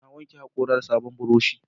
Na wanke haƙora da sabon burushi